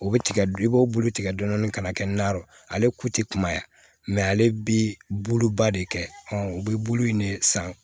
O bɛ tigɛ i b'o bulu tigɛ dɔɔnin dɔɔnin ka na kɛ nanw ale ku tɛ kumaya mɛ ale bi buluba de kɛ u bɛ bulu in de san